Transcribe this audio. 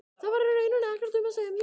Þar var í rauninni ekkert um að semja.